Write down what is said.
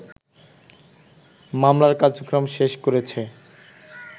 মামলার কার্যক্রম শেষ করেছে